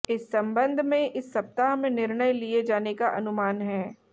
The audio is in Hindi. इस संबंध में इस सप्ताह में निर्णय लिये जाने का अनुमान है